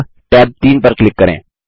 अब टैब 3 पर क्लिक करें